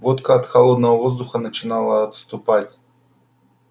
водка от холодного воздуха начинала отступать